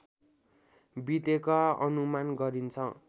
बितेको अनुमान गरिन्छ